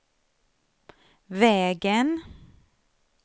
vägen